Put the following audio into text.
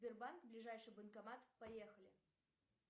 сбербанк ближайший банкомат поехали